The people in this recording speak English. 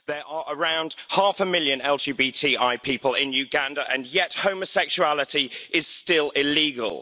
There are around half a million LGBTI people in Uganda and yet homosexuality is still illegal.